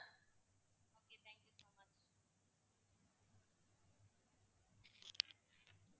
okay thank you so much